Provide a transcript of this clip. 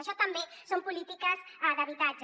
això també són polítiques d’habitatge